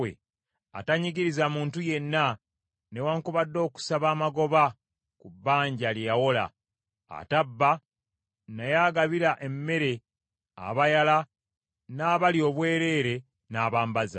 atanyigiriza muntu yenna newaakubadde okusaba amagoba ku bbanja lye yawola, atabba, naye agabira emmere abayala n’abali obwereere n’abambaza.